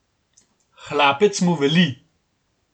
Hlapec mu veli.